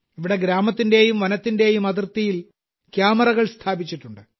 ഇവിടെ ഗ്രാമത്തിന്റെയും വനത്തിന്റെയും അതിർത്തിയിൽ ക്യാമറകൾ സ്ഥാപിച്ചിട്ടുണ്ട്